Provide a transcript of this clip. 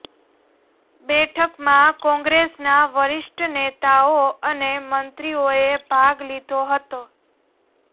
બેઠકમાં કોંગ્રેસના વરિષ્ઠ નેતાઓ અને મંત્રીઓએ ભાગ લીધો હતો